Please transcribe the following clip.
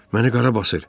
Məni qara basır.